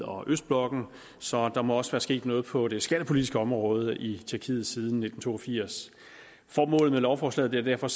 og østblokken så der må også være sket noget på det skattepolitiske område i tjekkiet siden nitten to og firs formålet med lovforslaget er derfor